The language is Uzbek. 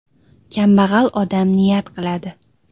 Kambag‘al odam niyat qiladi.